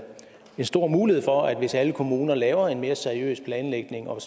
stor mulighed for at mere hvis alle kommuner laver en mere seriøs planlægning og